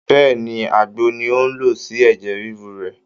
Bẹ́ẹ̀ni, Àgbo ni ó ń lò sí ẹ̀jẹ̀ ríru rẹ̀